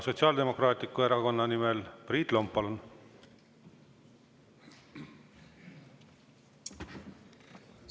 Sotsiaaldemokraatliku Erakonna nimel Priit Lomp, palun!